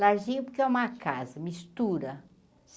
Larzinho, porque é uma casa, mistura.